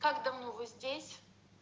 как давно вы здесь